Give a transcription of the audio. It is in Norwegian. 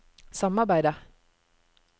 samarbeidet